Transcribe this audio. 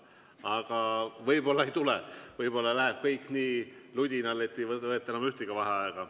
Aga võib-olla ei tule, võib-olla läheb kõik nii ludinal, et ei võeta enam ühtegi vaheaega.